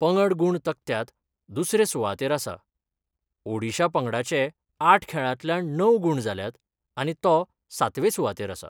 पंगड गुण तक्त्यात दुसरे सुवातेर आसा ओडीशा पंगडाचे आठ खेळातल्यान णव गुण जाल्यात आनी तो सातवे सुवातेर आसा.